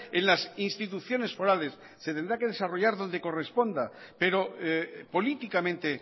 en las instituciones forales se tendrá que desarrollar donde corresponda pero políticamente